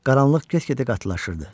Qaranlıq get-gedə qatılaşırdı.